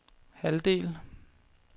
halvdel